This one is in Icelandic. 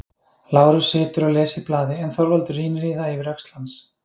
Lárus situr og les í blaði en Þorvaldur rýnir í það yfir öxl hans.